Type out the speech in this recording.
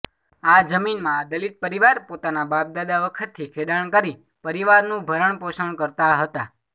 આ જમીનમાં આ દલિત પરિવાર પોતાના બાપદાદા વખતથી ખેડાણ કરી પરિવારનું ભરણપોષણ કરતા હતા